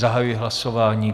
Zahajuji hlasování.